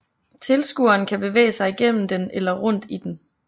Tilskueren kan bevæge sig gennem den eller rundt i den